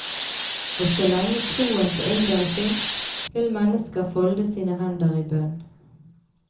Og så lenge troen på underet fins, vil mennesker folde sine hender i bønn.